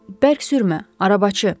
Bərk sürmə, arabacı!